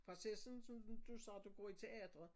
Bare se sådan som som du du sagde du går i teatret